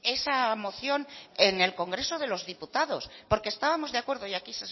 esa moción en el congreso de los diputados porque estábamos de acuerdo y aquí